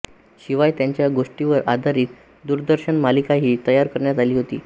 शिवाय त्यांच्या गोष्टींवर आधारीत दूरदर्शन मालिकाही तयार करण्यात आली होती